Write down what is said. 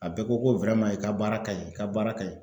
bɛɛ ko ko , i ka baara ka ɲi, i ka baara ka ɲi .